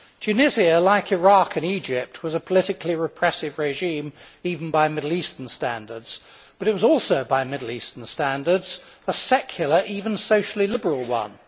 Tunisia, like Iraq and Egypt, was a politically repressive regime even by Middle Eastern standards, but it was also, by Middle Eastern standards, a secular, even socially liberal, one.